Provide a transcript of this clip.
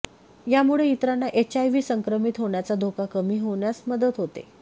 यामुळे इतरांना एचआयव्ही संक्रमित होण्याचा धोका कमी होण्यास मदत होते